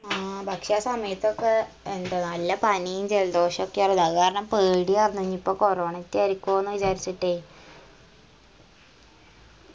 ആ പക്ഷാ സമയത്തൊക്കെ ഇണ്ട് നല്ല പനിയും ജലദോഷോക്കെയാണ് അഹ് കാരണം പേടിയാർന്ന് ഇനീപ്പൊ corona റ്റായിരിക്കോന്ന് വിചാരിച്ചിട്ട്